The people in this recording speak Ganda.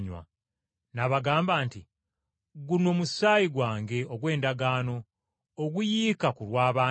N’abagamba nti, “Guno musaayi gwange ogw’endagaano, oguyiika ku lw’abangi.